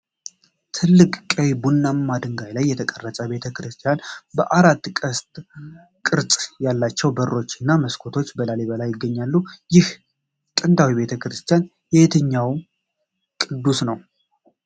ትልቅ ቀይ ቡናማ ድንጋይ ላይ የተቀረጸ ቤተ ክርስቲያን፣ በአራት ቅስት ቅርጽ ያላቸው በሮች እና መስኮቶች፣ በላሊበላ ይገኛል። ይህ ጥንታዊ ቤተ ክርስቲያን የየትኛው ቅዱስ ነው?